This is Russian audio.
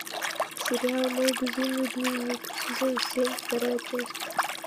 сериал мой безумный дневник сезон семь вторая часть